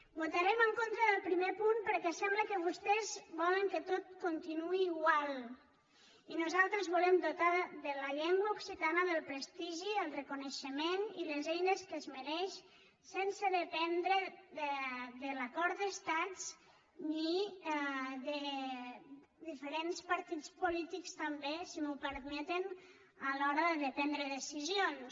votarem en contra del primer punt perquè sembla que vostès volen que tot continuï igual i nosaltres volem dotar la llengua occitana del prestigi i el reconeixement i les eines que es mereix sense dependre de l’acord d’estats ni de diferents partits polítics també si m’ho permeten a l’hora de prendre decisions